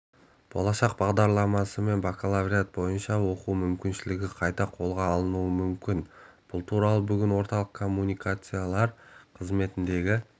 болашақ бағдарламасымен бакалавриат бойынша оқу мүмкіншілігі қайта қолға алынуы мүмкін бұл туралы бүгін орталық коммуникациялар қызметіндегі